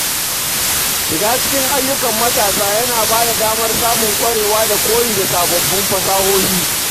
Shiga cikin ayyukan matasa yana ba da damar samun ƙwarewa da koyi da sababbin fasahohi.